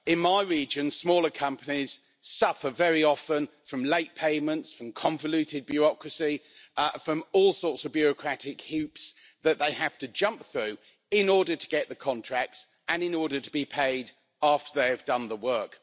In my region, smaller companies suffer very often from late payments, from convoluted bureaucracy, from all sorts of bureaucratic hoops that they have to jump through in order to get the contracts and in order to be paid after they have done the work.